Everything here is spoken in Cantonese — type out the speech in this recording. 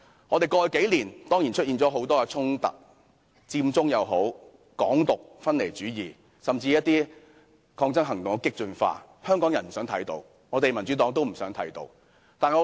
過去數年，本港出現了很多衝突：佔中、港獨、分離主義，甚至一些抗爭行動的激進化，這些是香港人不想看到，民主黨也不想看到的。